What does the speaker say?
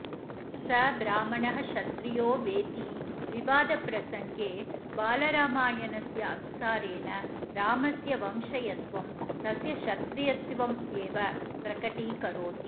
स ब्राह्मणः क्षत्रियो वेति विवादप्रसंगे बालरामायणस्य अनुसारेण रामस्य वंश्यत्वं तस्य क्षत्रियत्वमेव प्रकटीकरोति